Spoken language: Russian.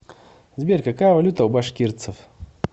сбер какая валюта у башкирцев